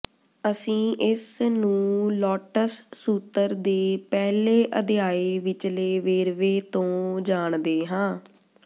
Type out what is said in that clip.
ਅਸੀਂ ਇਸ ਨੂੰ ਲੌਟਸ ਸੂਤਰ ਦੇ ਪਹਿਲੇ ਅਧਿਆਇ ਵਿਚਲੇ ਵੇਰਵੇ ਤੋਂ ਜਾਣਦੇ ਹਾਂ